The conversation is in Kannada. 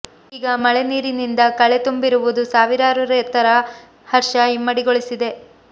ಈಗ ಮಳೆ ನೀರಿನಿಂದ ಕಳೆ ತುಂಬಿರುವುದು ಸಾವಿರಾರು ರೆತರ ಹರ್ಷ ಇಮ್ಮಡಿಗೊಳಿಸಿದೆ